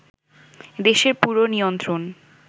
দেশের পুরো নিয়ন্ত্রণ